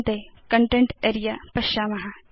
अन्ते कन्टेन्ट् अरेऽ पश्याम